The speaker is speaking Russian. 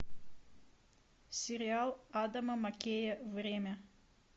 сериал адама маккея время